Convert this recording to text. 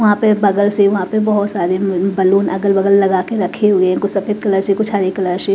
वहां पे बगल से वहां पे बहोत सारे उम्म बलून अगल-बगल लगा के रखे हुए कुछ सफेद कलर से कुछ हरे कलर से।